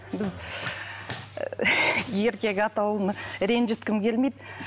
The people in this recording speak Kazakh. біз еркек атауын ренжіткім келмейді